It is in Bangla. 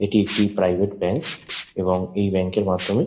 এটি একটি প্রাইভেট ব্যাঙ্ক এবং এই ব্যাঙ্ক এর মাধ্যমে--